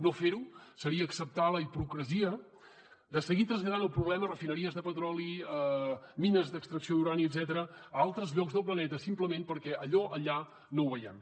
no fer ho seria acceptar la hipocresia de seguir traslladant el problema a refineries de petroli mines d’extracció d’urani etcètera a altres llocs del planeta simplement perquè allò allà no ho veiem